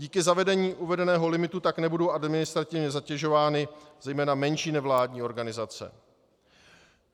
Díky zavedení uvedeného limitu tak nebudou administrativně zatěžovány zejména menší nevládní organizace.